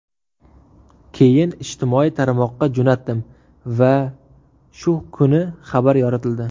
Keyin ijtimoiy tarmoqqa jo‘natdim va shu kuni xabar yoritildi.